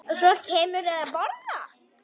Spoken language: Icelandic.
Og svo kemurðu að borða!